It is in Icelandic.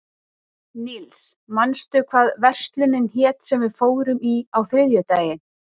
Níls, manstu hvað verslunin hét sem við fórum í á þriðjudaginn?